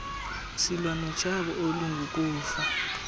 silwa notshaba olungukufa